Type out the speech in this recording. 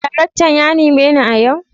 daraktan yanime ni a yau?